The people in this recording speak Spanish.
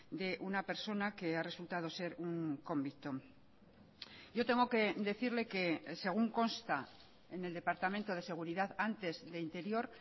de una persona que ha resultado ser un convicto yo tengo que decirle que según consta en el departamento de seguridad antes de interior